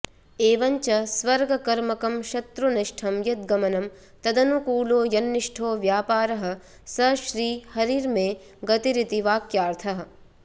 एवंच स्वर्गकर्मकं शत्रुनिष्ठं यद्गमनं तदनुकूलो यन्निष्ठो व्यापारः स श्रीहरिर्मे गतिरिति वाक्यार्थः